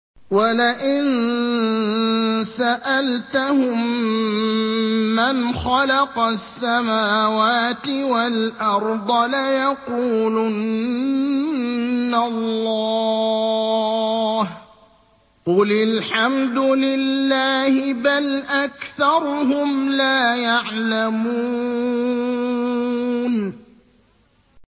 وَلَئِن سَأَلْتَهُم مَّنْ خَلَقَ السَّمَاوَاتِ وَالْأَرْضَ لَيَقُولُنَّ اللَّهُ ۚ قُلِ الْحَمْدُ لِلَّهِ ۚ بَلْ أَكْثَرُهُمْ لَا يَعْلَمُونَ